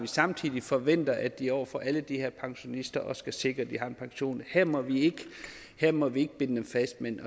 samtidig forventer at de over for alle de her pensionister skal sikre at de har en pension her må vi må vi ikke binde dem fast men